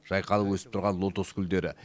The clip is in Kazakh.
жайқалып өсіп тұрған лотос гүлдері